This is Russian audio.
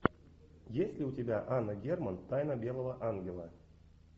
есть ли у тебя анна герман тайна белого ангела